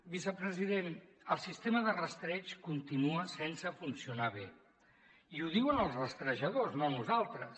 vicepresident el sistema de rastreig continua sense funcionar bé i ho diuen els rastrejadors no nosaltres